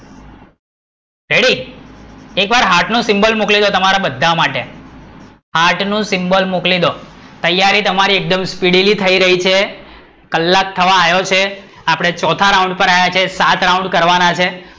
ready, એક વાર heart નો symbol મોકલી દો તમારા બધા માટે, હાર્ટ નું symbol મોકલી દો, તૈયારી તમારી એકદમ speedily થઇ રહી છે કલાક થવા આયો છે આપડે ચોથા રાઉન્ડ પર આવ્યા છે સાત round કરવાના છે